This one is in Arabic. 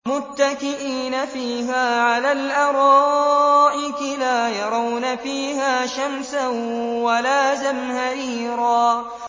مُّتَّكِئِينَ فِيهَا عَلَى الْأَرَائِكِ ۖ لَا يَرَوْنَ فِيهَا شَمْسًا وَلَا زَمْهَرِيرًا